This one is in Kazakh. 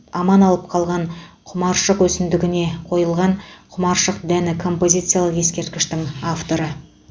аман алып қалған құмаршық өсімдігіне қойылған құмаршық дәні композициялық ескерткіштің авторы